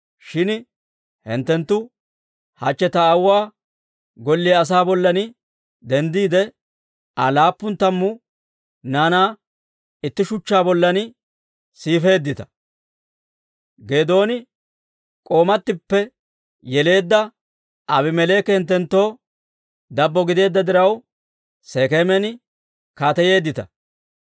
Shin hinttenttu hachche ta aawuwaa golliyaa asaa bollan denddiide, Aa laappun tammu naanaa itti shuchchaa bollan siifeeddita; Geedooni k'oomatippe yeleedda Aabimeleeki hinttenttoo dabbo gideedda diraw, Sekeeman kaateyeeddita.